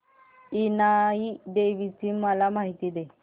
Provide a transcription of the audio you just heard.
इनाई देवीची मला माहिती दे